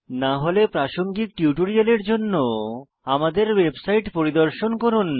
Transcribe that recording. না হলে প্রাসঙ্গিক টিউটোরিয়ালের জন্য আমাদের ওয়েবসাইট পরিদর্শন করুন